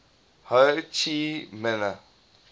ho chi minh